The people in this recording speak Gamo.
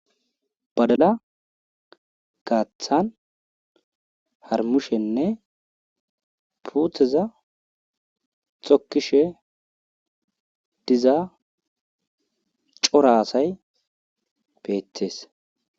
Badala gaaththan harumishenne puuteza tokishe diza cora asay beetees.